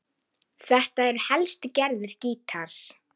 Þetta eru helstu gerðir gítars